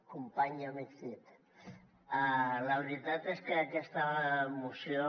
company i amic cid la veritat és que aquesta moció